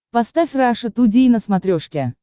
поставь раша тудей на смотрешке